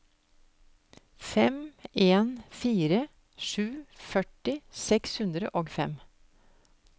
fem en fire sju førti seks hundre og fem